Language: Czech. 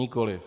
Nikoli.